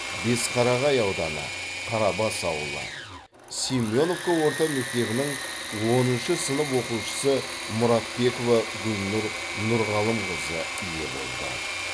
бесқарағай ауданы қарабас ауылы семеновка орта мектебінің оныншы сынып оқушысы мұратбекова гүлнұр нұрғалымқызы ие болды